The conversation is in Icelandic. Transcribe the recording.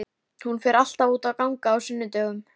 Hann kúrði þó áfram í kafi við skipshlið.